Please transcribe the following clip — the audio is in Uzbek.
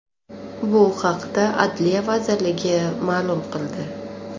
Bu haqda Adliya vazirligi ma’lum qildi .